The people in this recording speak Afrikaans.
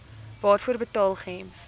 waarvoor betaal gems